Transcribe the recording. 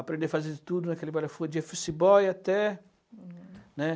Aprendei a fazer de tudo naquele bora-foda, de office boy até, né?